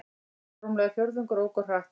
Rúmlega fjórðungur ók of hratt